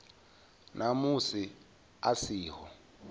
na musi a si ho